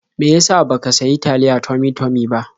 Me ya sa ba ka sayi taliyae Tummy-tummy ba?